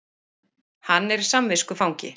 Hann er samviskufangi